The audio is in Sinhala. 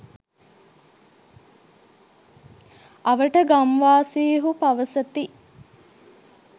අවට ගම්වාසීහු පවසති